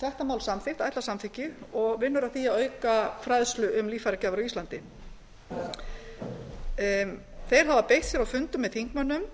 þetta mál samþykkt ætlað samþykki og vinnur að því að auka fræðslu um líffæragjafir á íslandi þeir hafa beitt sér á fundum með þingmönnum